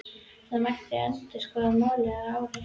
Það mætti endurskoða málið að ári.